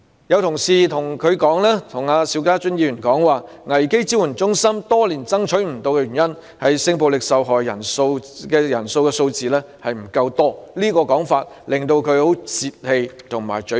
有同事對邵家臻議員說，危機支援中心多年來未能設立的原因是性暴力受害人的數字不夠多，這種說法令他十分泄氣和沮喪。